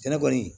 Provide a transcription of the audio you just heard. Sɛnɛ kɔni